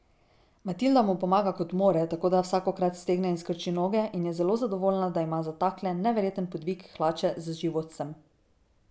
Matilda mu pomaga, kot more, tako da vsakokrat stegne in skrči noge, in je zelo zadovoljna, da ima za takle neverjeten podvig hlače z životcem.